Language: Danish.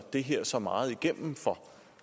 det her så meget igennem